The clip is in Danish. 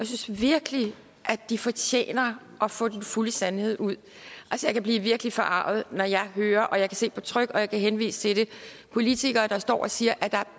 synes virkelig at de fortjener at få den fulde sandhed ud jeg kan blive virkelig forarget når jeg hører og jeg kan se på tryk og jeg kan henvise til det politikere der står og siger at der er